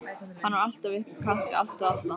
Hann var alltaf upp á kant við allt og alla.